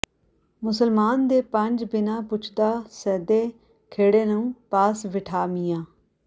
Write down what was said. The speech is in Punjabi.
ਮੁਸਲਮਾਨ ਦੇ ਪੰਜ ਬਿਨਾ ਪੁੱਛਦਾ ਸੈਦੇ ਖੇੜੇ ਨੂੰ ਪਾਸ ਬਿਠਾ ਮੀਆਂ